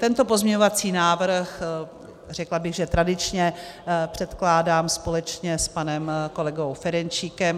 Tento pozměňovací návrh, řekla bych že tradičně, předkládám společně s panem kolegou Ferjenčíkem.